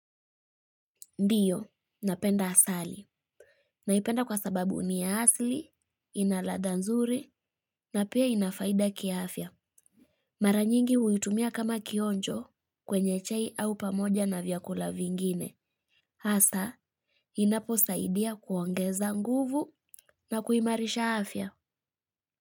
Ndiyo, napenda asali. Naipenda kwa sababu ni ya asli, ina ladha nzuri, na pia ina faida kiaafya. Mara nyingi huitumia kama kionjo kwenye chai au pamoja na vyakula vingine hasa inaposaidia kuongeza nguvu na kuimarisha afya.